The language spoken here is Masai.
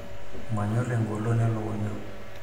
manyor egolon elikunya